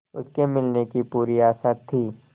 उसके मिलने की पूरी आशा थी